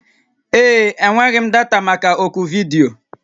Ee. Enweghị m data maka oku vidiyo